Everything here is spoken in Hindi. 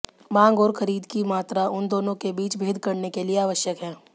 मांग और खरीद की मात्रा उन दोनों के बीच भेद करने के लिए आवश्यक है